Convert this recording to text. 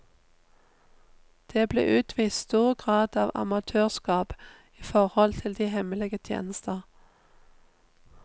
Det ble utvist stor grad av amatørskap i forhold til de hemmelige tjenester.